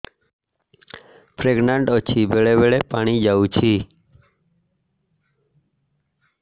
pregnant ଅଛି ବେଳେ ବେଳେ ପାଣି ଯାଉଛି